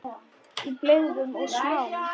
Í blygðun og smán.